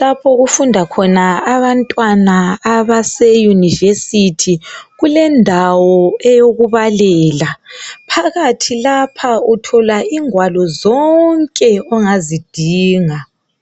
lapho okufunda kona amabantwana abaseuniversithi kulendawo eyokubalela phakathi lapha uthola ingwalo zonke ongazidinga